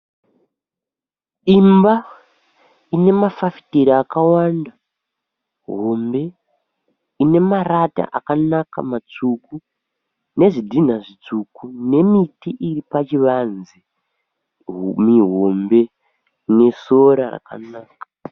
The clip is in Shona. Imba ine mafafitera akawanda hombe ine marata akanaka matsvuku nezvidhinha zvitsvuku nemiti iri pachivanze mihombe nesora rakanaka.